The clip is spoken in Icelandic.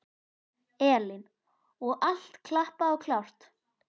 Elín: Og allt klappað og klárt?